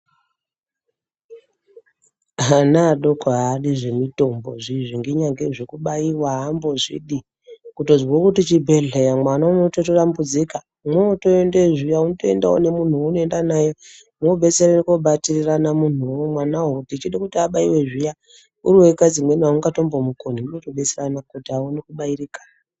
Ana adoko adi zvemitombo izvi inyange zvekubaiwa ambozvidi, kutozwa kuti chibhehleya, mwana unototambudzika. Mwotoendeyo zviya unotoendawo nemunhu weunotoenda naye mwobetserana kobatirana mwanawo Uchida kuti abaiwe zviya, uriwega dzimwe nguwa autozvikoni, mwotobetserana kuti a one kubaiwa.